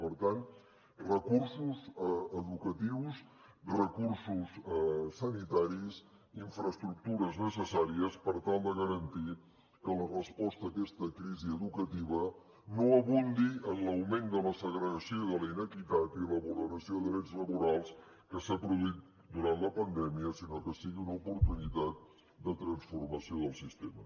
per tant recursos educatius recursos sanitaris infraestructures necessàries per tal de garantir que la resposta a aquesta crisi educativa no abundi en l’augment de la segregació i de la inequitat i la vulneració de drets laborals que s’han produït durant la pandèmia sinó que sigui una oportunitat de transformació del sistema